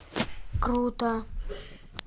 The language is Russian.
круто